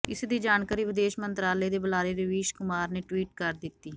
ਇਸ ਦੀ ਜਾਣਕਾਰੀ ਵਿਦੇਸ਼ ਮੰਤਰਾਲੇ ਦੇ ਬੁਲਾਰੇ ਰਵੀਸ਼ ਕੁਮਾਰ ਨੇ ਟਵੀਟ ਕਰ ਦਿੱਤੀ